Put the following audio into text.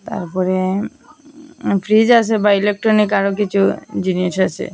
তারপরে ফ্রিজ আসে বা ইলেকট্রনিক আরও কিছু জিনিস আসে।